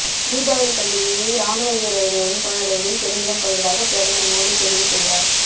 தீபாவளிப் பண்டிகையை ராணுவ வீரர்களுடன் கொண்டாடுவதில் பெருமிதம் கொள்வதாக பிரதமர் மோடி தெரிவித்துள்ளார்